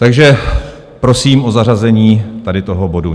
Takže prosím o zařazení tady toho bodu.